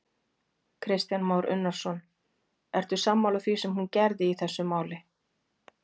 Kristján Már Unnarsson: Ertu sammála því sem hún gerði í þessu máli?